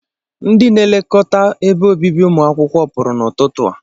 Ndị nlekọta ebe obibi ụmụ akwụkwọ pụrụ n'ọtụtụ a.